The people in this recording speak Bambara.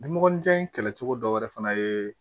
Ni mɔgɔninjan in kɛlɛ cogo dɔ wɛrɛ fana ye